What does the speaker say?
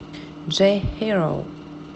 джой хироу